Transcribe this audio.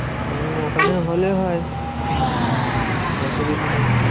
হম ওখানে হলে হয়। অসুবিধে নেই।